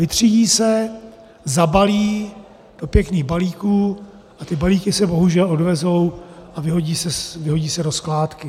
Vytřídí se, zabalí do pěkných balíků a ty balíky se bohužel odvezou a vyhodí se do skládky.